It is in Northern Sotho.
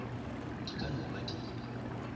di ka no ba di